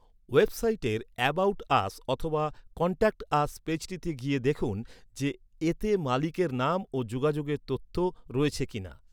ওয়েবসাইটের 'about us' অথবা 'contact us' পেজটিতে গিয়ে দেখুন যে, এতে মালিকের নাম ও যোগাযোগের তথ্য রয়েছে কি না।